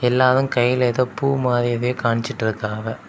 எல்லாவும் கைல எதோ பூ மாதிரி எதையோ கானிச்சிட்டு இருக்காவ.